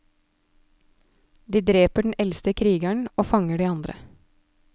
De dreper den eldste krigeren og fanger de andre.